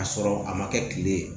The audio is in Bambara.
K'a sɔrɔ a ma kɛ kile ye